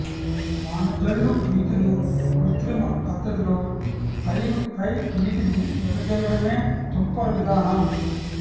వానజల్లు రీతిలో కృత్రిమ పద్ధతిలో పైరుపై నీటిని వెదజల్లడమే తుంపర విధానం